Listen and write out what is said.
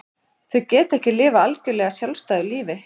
Þau geta ekki lifað algjörlega sjálfstæðu lífi.